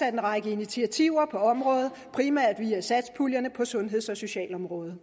en række initiativer på området primært via satspuljerne på sundheds og socialområdet